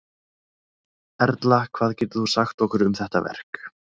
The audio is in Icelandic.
Erla hvað getur þú sagt okkur um þetta verk?